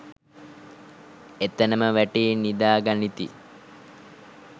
එතැන ම වැටී නිදා ගනිති